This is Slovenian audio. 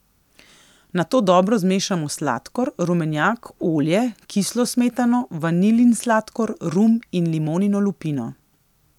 Nato dobro zmešamo sladkor, rumenjak, olje, kislo smetano, vanilin sladkor, rum in limonino lupino.